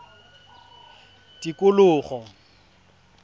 tikologo